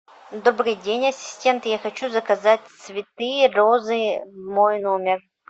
добрый день ассистент я хочу заказать цветы розы в мой номер